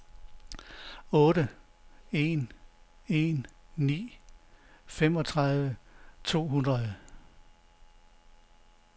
otte en en ni femogtredive to hundrede